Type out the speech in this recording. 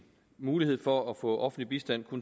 mulighed for at få offentlig bistand